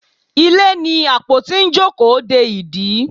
Ilé ní apotí n jókòó dẹ ìdí